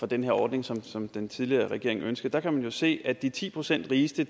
den her ordning som som den tidligere regering ønskede der kan man jo se at de ti procent rigeste